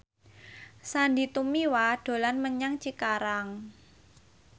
Sandy Tumiwa dolan menyang Cikarang